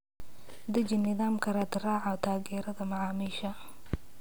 Deji nidaamka raadraaca taageerada macaamiisha.